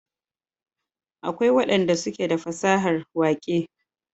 akwai wadan da suke da fasahar waƙe